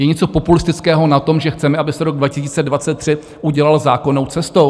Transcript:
Je něco populistického na tom, že chceme, aby se rok 2023 udělal zákonnou cestou?